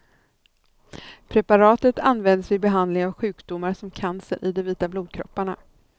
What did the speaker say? Preparatet används vid behandling av sjukdomar som cancer i de vita blodkropparna.